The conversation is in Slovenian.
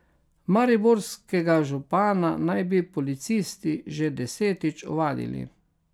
Mariborskega župana naj bi policisti že desetič ovadili.